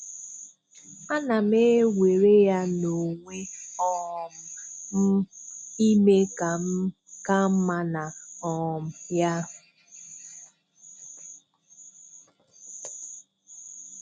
Ana m ewere ya n'onwe um m ime ka m ka mma na um ya.